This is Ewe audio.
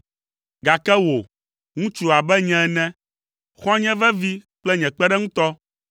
gake wò, ŋutsu abe nye ene, xɔ̃nye vevi kple nye kpeɖeŋutɔ,